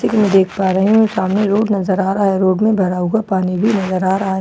जैसे कि मैं देख पा रही हूं सामने रोड नजर आ रहा है रोड में भरा हुआ पानी भी नजर आ रहा है सा--